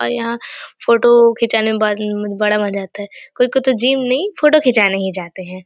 और यहाँ फोटो खींचाने में ब बड़ा मजा आता है कोई-कोई को तो जिम नई फोटो खींचाने ही जाते हैं।